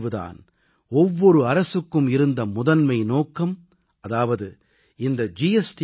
இதன் விளைவு தான் ஒவ்வொரு அரசுக்கும் இருந்த முதன்மை நோக்கம் அதாவது இந்த ஜி